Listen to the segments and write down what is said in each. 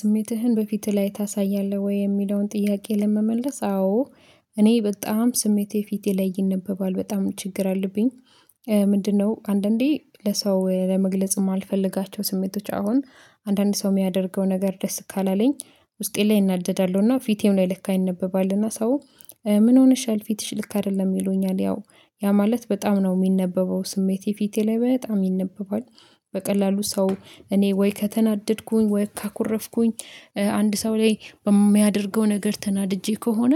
ስሜትህን በፊትህ ላይ ታሳያለህ ወይ የሚለውን ጥያቄ ለመመለስ አዎ። እኔ በጣም ስሜቴ ፊት ይነበባል በጣም ችግር አለብኝ። ምንድነው አንዳንዴ ለሰው ለመግለጽም እማልፈልጋቸው ስሜቶች አሁን አንዳንድ ሰው የሚያደርገው ነገር ደስ ካላለኝ ውስጤ ላይ እናደዳለሁና ፊቴም ላይ ልክ ይነበባልና ሰው ምን ሆነሻል ፊትሽ ልክ አይደለም ይሉኛል? ያው ያ ማለት በጣም ነው የሚነበበው ስሜቴ ፊቴ ላይ በጣም ይነበባል። በቀላሉ ሰው እኔ ወይ ከተናደድኩኝ ወይ ካኮረፍኩኝ አንድ ሰው ላይ በሚያደርገው ነገር ተናድጄ ከሆነ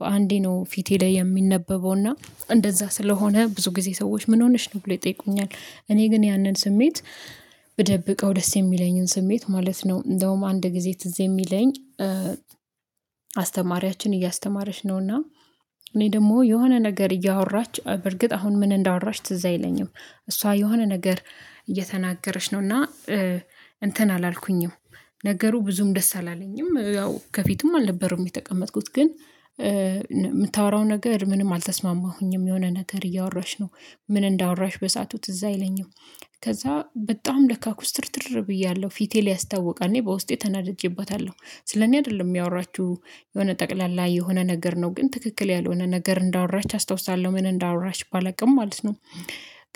በአንዴ ነው ፊቴ ላይ የሚነበበው እና እንደዛ ስለሆነ ብዙ ጊዜ ሰዎች ምን ሆነሽ ነው ብለው ይጠይቁኛል? እኔ ግን ያንን ስሜት ብደብቀው ደስ የሚለኝን ስሜት ማለት ነው። እንደውም አንድ ጊዜ ትዝ የሚለኝ አስተማሪያችን እያስተማረች ነውና እኔ ደግሞ የሆነ ነገር እያወራች በርግጥ አሁን ምን እንዳወራች ትዝ አይለኝም። እሷ የሆነ ነገር እየተናገርች ነው እና እንትን አላልኩኝም። ነገሩ ብዙም ደስ አላለኝም ያው ከፊቱም አልነበሩም የተቀመጥኩት ግን የምታወራው ነገር ምንም አልተስማማሁኝም የሆነ ነገር እያወራች ነው። ምን እንዳወራች በሳአቱ ትዝ አይለኝም። ከዛ በጣም ለካ ኩስትርትር ብያለሁ ፊቴ ያስታውቃ እኔ በውስጤ ተናደጄባታለሁ ስለኔ አይደለም ያወራችው የሆነ ጠቅላላ የሆነ ነገር ነው ግን ትክክል ያልሆነ ነገር እንዳወራች አስታውሳለሁ ምን እንዳወራች ባላውቅም ማለት ነው።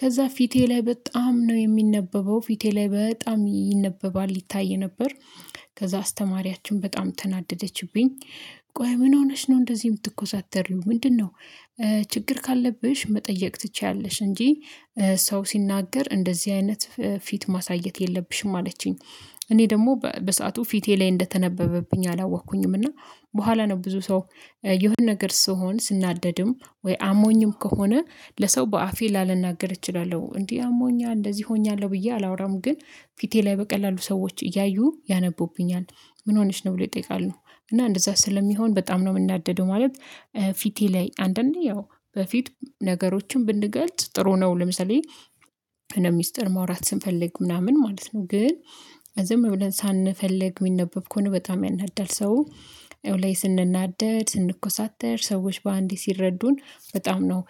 ከዛ ፊቴ ላይ በጣም ነው የሚነበበው ፊቴ ላይ በጣም ይነበባል ይታይ ነበር። ከዛ አስተማሪያችን በጣም ተናደደችብኝ። ቆይ ምን ሆነሽ ነው እንደዚህ የምትኮሳተሪው ምንድነው? ችግር ካለብሽ መጠየቅ ትችያለሽ እንጂ። ሰው ሲናገር እንደዚህ አይነት ፊት ማሳየት የለብሽም አለችኝ። እኔ ደግሞ በሰአቱ ፊቴ ላይ እንደተነበበብኝ አላወኩኝም እና በኋላ ነው ብዙ ሰው የሆነ ነገር ስሆን ስናደድም ወይ አሞኝም ከሆነ ለሰው በአፌ ላላናገር እችላለሁ እንዲህ አሞኛ እንደዚህ ሆኛለሁ ብዬ አላወራም ግን ፊቴ ላይ በቀላሉ ሰዎች እያዩ ያነቡብኛል። ምን ሆነሽ ነው ብለው ይጠይቃል? እና እንደዛ ስለሚሆን በጣም ነው የምናደደው ማለት። ፊቴ ላይ አንዳ አነዴ ያው በፊት ነገሮችን ብንገልጽ ጥሩ ነው። ለምሳሌ ሚስጥር ማውራት ስንፈልግ ምናምን ማለት ነው ግን ዝም ብለን ሳንፈልግ የሚነበብ ከሆነ በጣም ያናድዳል። ሰው ላይ ስንናደድ ስንኮሳተር ሰዎች በአንዴ ሲረዱን በጣም ነው።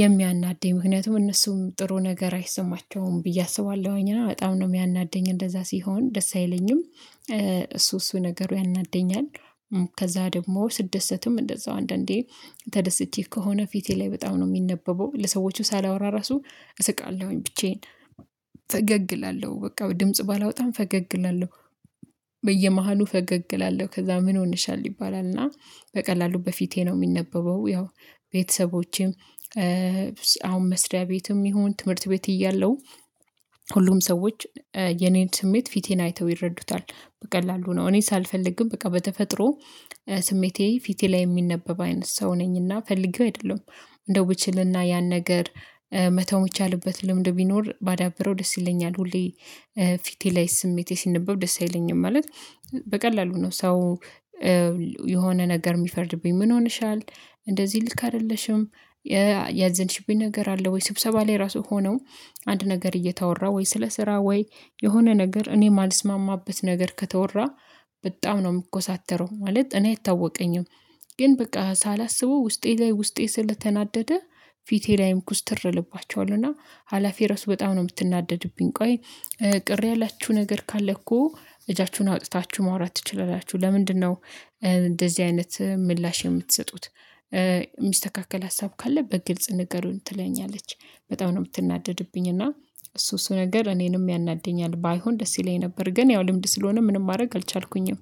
የሚያናድደኝ ምክንያቱም እነሱም ጥሩ ነገር አይሰማቸውም ብዬ አስባለሁኝ እና በጣም ነው የሚያናደኝ እንደዛ ሲሆን ደስ አይለኝም። እሱ እሱ ነገሩ ያናደኛል። ከዛ ደግሞ ስደሰትም እንደዛው አንዳንዴ ተደስቼ ከሆነ ፊቴ ላይ በጣም ነው የሚነበበው ለሰዎቹ ሳላወራ ራሱ እሰቃለሁኝ ብቻዬን ፈገግ እላለሁ በቃ ድምጽ ባላወጣም ፈገግ እላለሁ። በየመሃሉ ፈገግ እላለሁ ከዛ ምን ሆነሻል ይባላል እና በቀላሉ በፊቴ ነው የሚነበበው። ያው ቤተሰቦቼም አሁን መስሪያ ቤትም ይሁን ትምህርት ቤት እያለሁ ሁሉም ሰዎች የኔን ስሜት ፊቴን አይተው ይረዱታል። በቀላሉ ነው እኔ ሳልፈልግም በቃ በተፈጥሮ ስሜቴ ፊቴ ላይ የሚነበብ አይነት ሰው ነኝና ፈልጌው አይደለም። እንደው ብችልና ያን ነገር መተው የሚቻልበት ልምድ ቢኖር ባዳብረው ደስ ይለኛል። ሁሌ ፊቴ ላይ ስሜቴ ሲነበብ ደስ አይለኝም። ማለት በቀላሉ ነው ሰው የሆነ ነገር የሚፈርድብኝ ምን ሆነሻል? እንደዚህ ልክ አይደለሽም። ያዘንሽብኝ ነገር አለ ወይ ስብሰባ ላይ ራሱ ሆነው አንድ ነገር እየተወራ ወይ ስለ ስራ ወይ የሆነ ነገር እኔ የማልስማማበት ነገር ከተወራ በጣም ነው የምኮሳተረው። ማለት እኔ አይታወቀኝም ግን በቃ ሳላስበው ውስጤ ላይ ውስጤ ስለተናደደ ፊቴ ላይም ኩስትር እልባቸዋለህ እና ሀላፊዬ ርዕስ በጣም ነው የምትናደድብኝ። ቆይ ቅር ያላችሁ ነገር ካለ እኮ እጃችሁን አውጥታችሁ ማውራት ትችላላችሁ ለምንድነው? እንደዚህ አይነት ምላሽ የምትሰጡት። የሚስተካከል ሀሳብ ካለ በግልጽ ንገሩን ትለኛለች። በጣም ነው የምትናደድብኝ። እና እሱ እሱ ነገር እኔንም ያናድደኛል ባይሆን ደስ ይለኝ ነበር ግን ያው ልምድ ስለሆነ ምንም ማድረግ አልቻልኩኝም